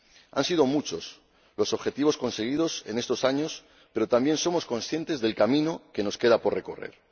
Han sido muchos los objetivos conseguidos en estos años, pero también somos conscientes del camino que nos queda por recorrer.